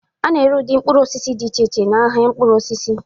A na-ere ụdị mkpụrụ osisi dị iche iche n'ahịa mkpụrụ osisi